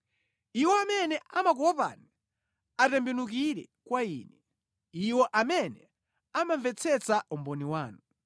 Iwo amene amakuopani atembenukire kwa ine, iwo amene amamvetsetsa umboni wanu.